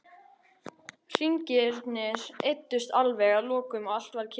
Hringirnir eyddust alveg að lokum og allt varð kyrrt.